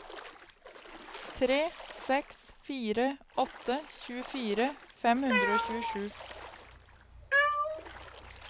tre seks fire åtte tjuefire fem hundre og tjuesju